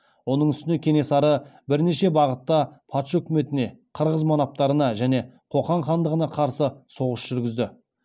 оның үстіне кенесары бірнеше бағытта патша үкіметіне қырғыз манаптарына және қоқан хандығына қарсы соғыс жүргізді